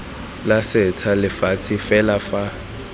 la setsha lefatshe fela fa